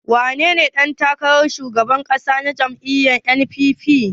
Wanene ɗan takarar shugaban ƙasa a jam'iyyar NNPP?